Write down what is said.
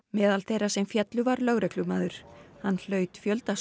meðal þeirra sem féllu var lögreglumaður hann hlaut fjölda